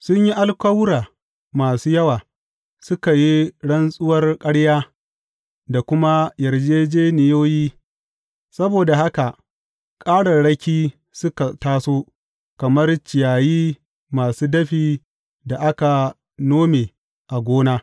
Sun yi alkawura masu yawa, suka yi rantsuwar ƙarya da kuma yarjejjeniyoyi; saboda haka ƙararraki suka taso kamar ciyayi masu dafi da aka nome a gona.